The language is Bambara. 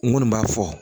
N kɔni b'a fɔ